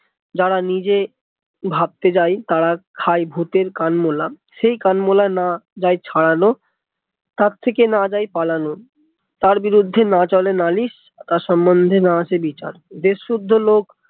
যার নিজে ভাবতে যায় তারা খায় ভুতের কান মোলা সেই কান মোলা না যায় ছাড়ানো তার থেকে না যায় পালানো তার বিরুদ্ধে না চলে নালিশ তার সমন্ধে না আসে বিচার দেশ শুদ্ধ লোক